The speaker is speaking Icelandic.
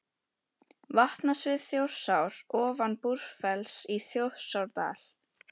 Vatnasvið Þjórsár ofan Búrfells í Þjórsárdal.